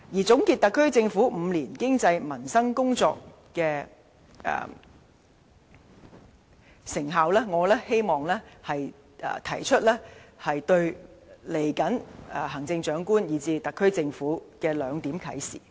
總結特區政府過去5年在經濟、民生等工作的成效，我希望提出對未來行政長官，以至特區政府的兩點啟示。